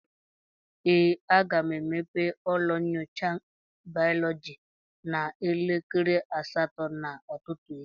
ee, aga m emepe ụlọ nyocha bayọlọji n'elekere asatọ nke ụtụtụ echi